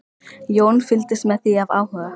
Jón fylgdist með því af áhuga.